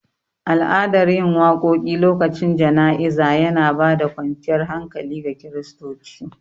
Al'adan yin waƙoƙi lokacin jana'iza yana bada kwanciyar hankali ga kiristoci